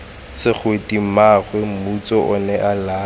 segwete mmaagwe motsu onea laya